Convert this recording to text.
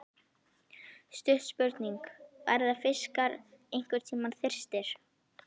Stutt spurning, verða fiskar einhverntímann þyrstir!??